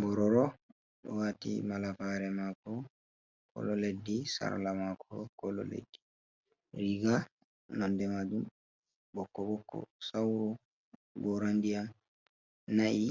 bororo wati malafare mako kolo leddi, sarla mako kolo leddi, riga nonde majum bokko bokko, saur gora ndiyanm nai